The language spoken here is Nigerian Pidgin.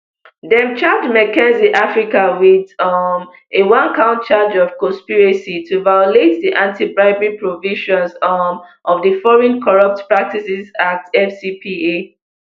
dem charge mckinsey africa wit um a one count charge of conspiracy to violate di antibribery provisions um of di foreign corrupt practices act fcpa